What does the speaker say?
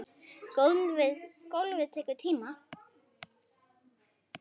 Golfið tekur tíma.